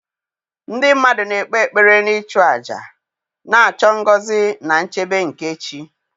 ndị mmadụ na-ekpe ekpere na ịchụ àjà, na-achọ ngọzi na nchebe nke chi.